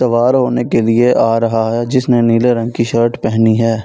सवार होने के लिए आ रहा है जिसने नीले रंग की शर्ट पहनी है।